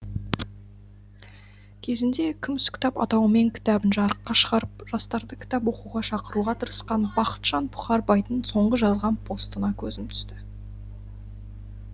кезінде күміс кітап атауымен кітабын жарыққа шығарып жастарды кітап оқуға шақыруға тырысқан бақытжан бұқарбайдың соңғы жазған постына көзім түсті